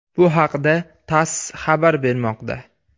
Bu haqda TASS xabar bermoqda .